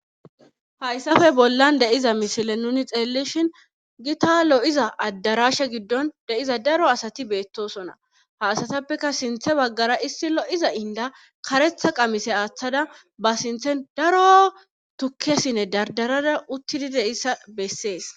Hayssafe bollan de'iza misile nuni xeellishin gita lo'iza addarashe giddon de'iza daro asati beettosona haasatappeka sinthe baggara issi lo'iza inda karetha qamise aaththada ba sinthen daro tukkesinne dardarada uttidi de issa bessees.